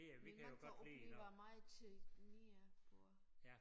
Men man kan opleve meget mere på